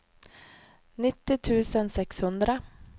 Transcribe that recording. nittio tusen sexhundra